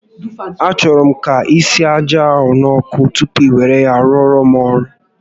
A chọrọ m ka isie aja ahụ n'ọkụ tupu i were ya rụọrọ m ọrụ